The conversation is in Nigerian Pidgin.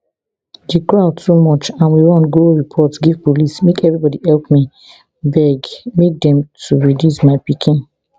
the crowd too much and we run go report give police make everybody help me beg make dem to release my pikin